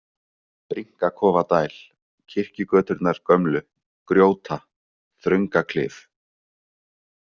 Brynkakofadæl, Kirkjugöturnar gömlu, Grjóta, Þröngaklif